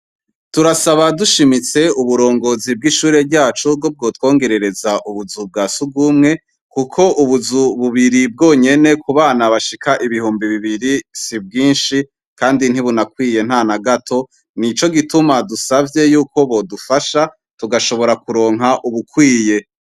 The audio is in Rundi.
Turasaba dushimitse uburongozi bw'ishure ryacu ko bwotwongerereza ubuzu bwa si urw'umwe, kuko ubuzu bubiri bwonyene ku bana bashika ibihumbi bibiri si bwinshi, kandi ntibunakwiye nta na gato, nico gituma dusavye yuko bodufasha tugashobora kuronka ubukwiye.